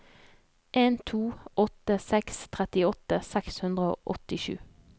en to åtte seks trettiåtte seks hundre og åttisju